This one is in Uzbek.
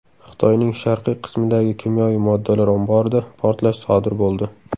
Xitoyning sharqiy qismidagi kimyoviy moddalar omborida portlash sodir bo‘ldi.